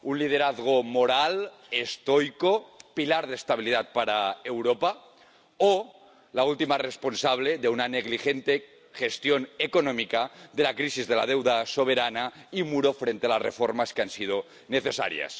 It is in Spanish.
Un liderazgo moral, estoico, pilar de estabilidad para Europa, o la última responsable de una negligente gestión económica de la crisis de la deuda soberana, y un muro frente a las reformas que han sido necesarias.